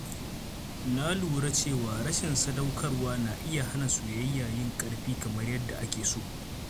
Na lura cewa rashin sadaukarwa na iya hana soyayya yin ƙarfi kamar yadda ake so.